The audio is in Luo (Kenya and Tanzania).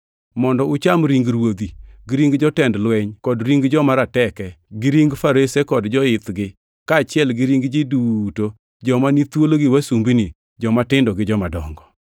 mondo ucham ring ruodhi, gi ring jotend lweny kod ring joma rateke, gi ring farese kod joithgi kaachiel gi ring ji duto, joma ni thuolo gi wasumbini, jomatindo gi jomadongo.”